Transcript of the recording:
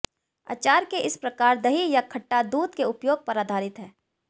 अचार के इस प्रकार दही या खट्टा दूध के उपयोग पर आधारित है